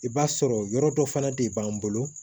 I b'a sɔrɔ yɔrɔ dɔ fana de b'an bolo